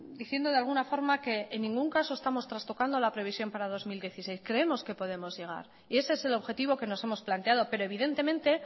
diciendo de alguna forma que en ningún caso estamos trastocando la previsión para el dos mil dieciséis creemos que podemos llegar y ese es el objetivo que nos hemos planteado pero evidentemente